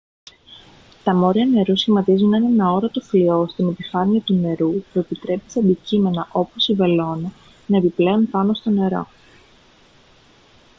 τα μόρια νερού σχηματίζουν έναν αόρατο φλοιό στην επιφάνεια του νερού που επιτρέπει σε αντικείμενα όπως η βελόνα να επιπλέουν πάνω στο νερό